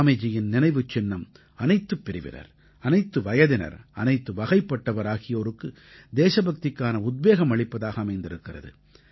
ஸ்வாமிஜியின் நினைவுச் சின்னம் அனைத்துப் பிரிவினர் அனைத்து வயதினர் அனைத்து வகைப்பட்டவர் ஆகியோருக்கு தேசபக்திக்கான உத்வேகம் அளிப்பதாக அமைந்திருக்கிறது